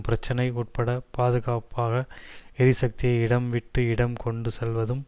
பிரச்சினை உட்பட பாதுகாப்பாக எரிசக்தியை இடம் விட்டு இடம் கொண்டு செல்வதும்